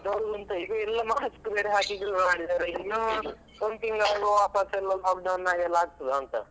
ಹಾ ಈಗ mask ಬೇರೆ ಹಾಕಿ ಇನ್ನು ಒಂದ್ ತಿಂಗ್ಳ್ ಆಗುವಾಗ ವಾಪಸ್ ಎಲ್ಲ lockdown ಆಗ್ತದಂತ.